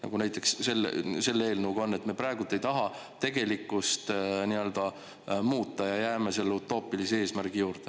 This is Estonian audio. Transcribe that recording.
Nagu näiteks selle eelnõuga on, et me praegu ei taha tegelikkust muuta ja jääme selle utoopilise eesmärgi juurde.